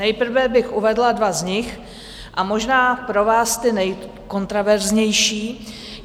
Nejprve bych uvedla dva z nich a možná pro vás ty nejkontroverznější.